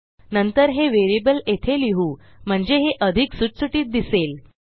नंतर हे व्हेरिएबल येथे लिहू म्हणजे हे अधिक सुटसुटीत दिसेल